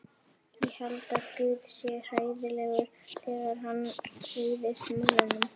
Ég held að guð sé hræðilegur þegar hann reiðist mönnunum.